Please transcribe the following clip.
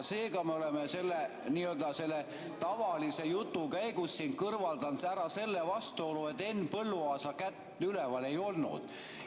Seega, me oleme selle n‑ö tavalise jutu käigus siin kõrvaldanud ära selle vastuolu, et Henn Põlluaasa kätt üleval ei olnud.